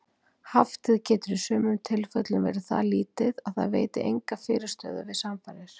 Haftið getur í sumum tilfellum verið það lítið að það veiti enga fyrirstöðu við samfarir.